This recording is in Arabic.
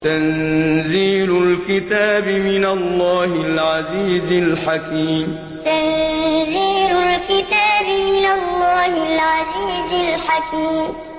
تَنزِيلُ الْكِتَابِ مِنَ اللَّهِ الْعَزِيزِ الْحَكِيمِ تَنزِيلُ الْكِتَابِ مِنَ اللَّهِ الْعَزِيزِ الْحَكِيمِ